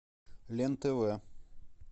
лен тв